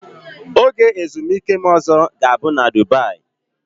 Oge ezumike m ọzọ ga-abụ na Dubaị.